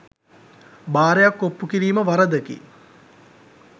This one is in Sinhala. බාරයක් ඔප්පු කිරීම වරදකි